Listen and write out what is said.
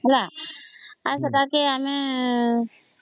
ହେଲା ଆଉ ସେଟାକେ ଆମେ